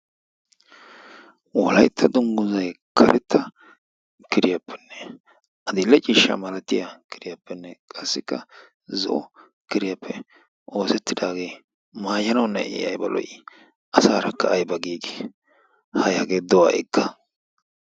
Wolayitta dunggizzay karetta kiriyappenne adil'e ciishshaa malatiya kiriyappenne qassikka zo'o kiriyappe oosettidaagee mayanawunne I ayiba lo'ii! asaarakka ayiba giigidi! Hay hagee do ha'ikka.